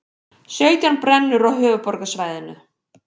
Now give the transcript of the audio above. Sautján brennur á höfuðborgarsvæðinu